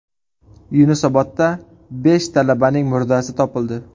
Yunusobodda besh talabaning murdasi topildi.